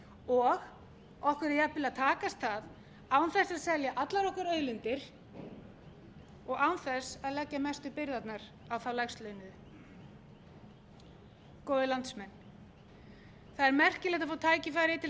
og okkur er jafnvel að takast það án þess að selja allar okkar auðlindir og án þess að leggja mestu byrðarnar á þá lægstlaunuðu góðir landsmenn það er merkilegt að fá tækifæri til þess